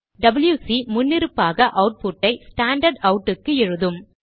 WC முன்னிருப்பாக அவுட்புட்டை standard out க்கு எழுதும்